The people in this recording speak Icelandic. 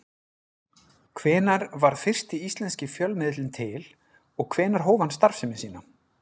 Hvenær varð fyrsti íslenski fjölmiðillinn til og hvenær hóf hann starfsemi sína?